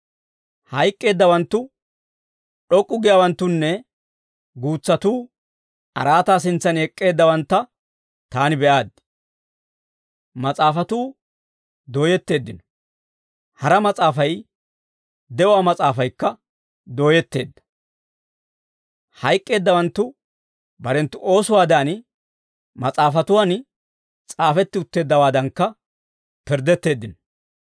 Hayk'k'eeddawanttu, d'ok'k'u giyaawanttunne guutsatuu araataa sintsan ek'k'eeddawantta taani be'aaddi. Mas'aafatuu dooyetteeddino; hara mas'aafay, de'uwaa mas'aafaykka dooyetteedda. Hayk'k'eeddawanttu barenttu oosuwaadan, mas'aafatuwan s'aafetti utteeddawaadankka pirddetteeddino.